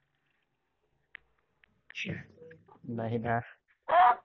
नाही ना